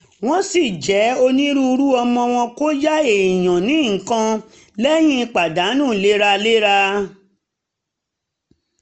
wọ́n ṣì jẹ́ onínúure àmọ́ wọ́n kò yá èèyàn ní nǹkan lẹ́yìn pàdánù léraléra